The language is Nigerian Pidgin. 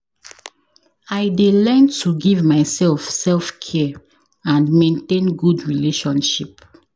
I dey learn to give myself self-care and maintain good relationship.